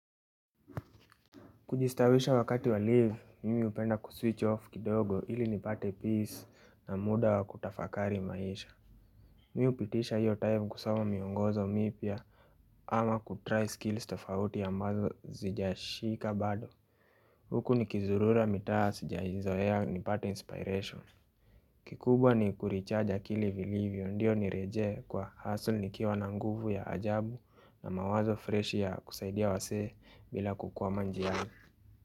Kujistawisha wakati wa leave mimi hupenda kuswitch off kidogo ili nipate peace na muda wa kutafakari maisha Mimii hupitisha hiyo time kusoma miongozo mipya ama kutry skills tofauti ambazo sijashika bado Huku ni kizurura mitaa sijaizoea nipate inspiration kikubwa ni kurecharge akili vilivyo ndio nirejee kwa hustle nikiwa na nguvu ya ajabu na mawazo fresh ya kusaidia wasee bila kukwama njiani.